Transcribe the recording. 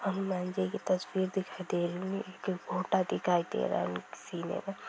हनुमान जी की तस्वीर दिखाई दे रही है| एक फोटा दिखाई दे रहा है एक सन में|